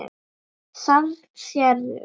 Þarna sérðu.